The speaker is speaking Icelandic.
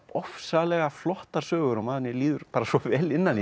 ofsalega flottar sögur og manni líður bara svo vel innan í